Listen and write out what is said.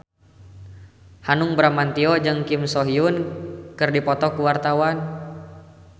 Hanung Bramantyo jeung Kim So Hyun keur dipoto ku wartawan